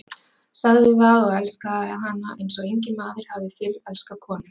Sagði það og elskaði hana eins og enginn maður hafði fyrr elskað konu.